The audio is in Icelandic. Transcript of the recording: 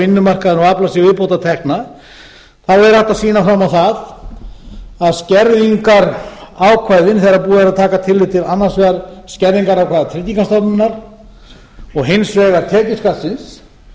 vinnumarkaðinn og afla sér viðbótartekna þá er hægt að sýna fram á það að skerðingarákvæða þegar búið er að taka tillit til annars vegar skerðingarákvæða tryggingastofnunar og hins vegar tekjuskattsins þá heldur